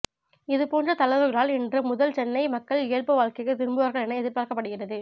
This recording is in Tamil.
இதுபோன்ற தளர்வுகளால் இன்று முதல் சென்னை மக்கள் இயல்பு வாழ்க்கைக்கு திரும்புவார்கள் என எதிர்பார்க்கப்படுகிறது